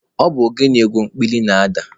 Ọ bụ ogene egwu ekpili na-ada.